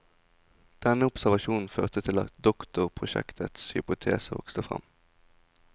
Denne observasjonen førte til at doktorprosjektets hypotese vokste fram.